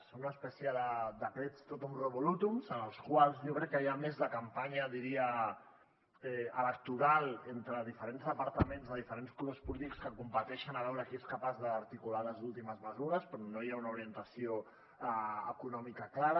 són una espècie de decrets totum revolutum en els quals jo crec que hi ha més de campanya diria electoral entre diferents departaments de diferents colors polítics que competeixen a veure qui és capaç d’articular les últimes mesures però no hi ha una orientació econòmica clara